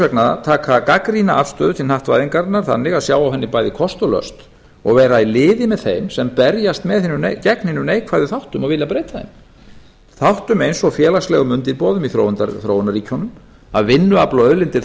vegna taka gagnrýna afstöðu til hnattvæðingarinnar þannig að sjá á henni bæði kost og löst og vera í liði með þeim sem berjast gegn hinum neikvæðum þáttum og vilja breyta þeim þáttum eins og félagslegum undirboðum í þróunarríkjunum að vinnuafl og auðlindir